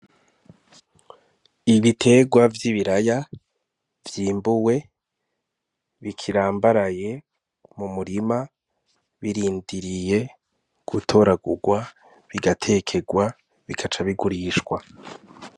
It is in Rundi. Ibiterwa vy'ibiraya vyimbuwe bikirambaraye mu murima birindiriye gutoragurwa bigatekerwa bigaca bigurishwa.